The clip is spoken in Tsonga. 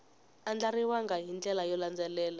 andlariwangi hi ndlela yo landzelela